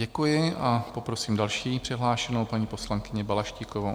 Děkuji a poprosím další přihlášenou paní poslankyni Balaštíkovou.